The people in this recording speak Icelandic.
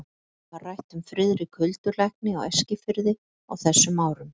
Mjög mikið var rætt um Friðrik huldulækni á Eskifirði á þessum árum.